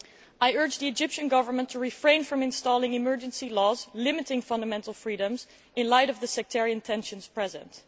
I urge the Egyptian Government to refrain from introducing emergency laws limiting fundamental freedoms in light of the sectarian tensions present.